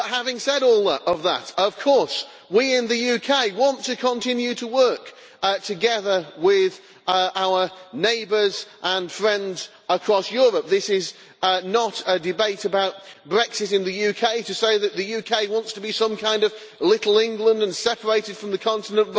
But having said all of that, of course, we in the UK want to continue to work together with our neighbours and friends across Europe. This is not a debate about Brexit in the UK or to say that the UK wants to be some kind of little England' separated from the continent